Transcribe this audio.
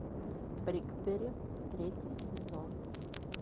бриклберри третий сезон